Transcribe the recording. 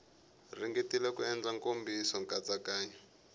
ringetile ku endla nkomiso nkatsakanyo